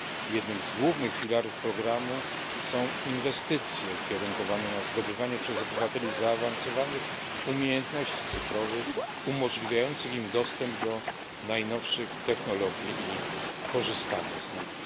Jednym z głównych filarów programu są inwestycje ukierunkowane na zdobywanie przez obywateli zaawansowanych umiejętności cyfrowych umożliwiających im dostęp do najnowszych technologii i korzystanie z nich.